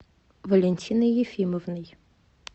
валентиной ефимовной